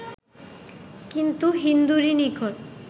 কিন্তু হিন্দুরই নিকট